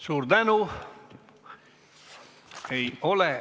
Suur tänu!